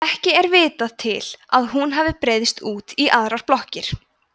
ekki er vitað til að hún hafi breiðst út í aðrar blokkir